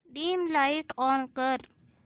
dim light on कर